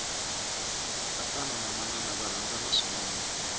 tatana na manana va rhandzana swinene